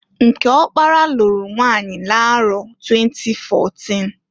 Nke ọkpara lụrụ nwanyi n'arọ 2014.